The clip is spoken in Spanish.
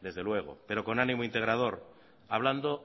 desde luego pero con ánimo integrador hablando